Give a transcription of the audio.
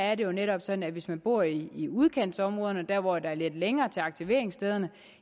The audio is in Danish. er det jo netop sådan at hvis man bor i udkantsområderne der hvor der er lidt længere til aktiveringsstederne